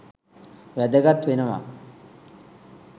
වැදගත් වෙනවා